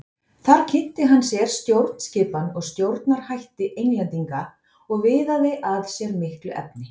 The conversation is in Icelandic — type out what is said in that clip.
Þar kynnti hann sér stjórnskipan og stjórnarhætti Englendinga og viðaði að sér miklu efni.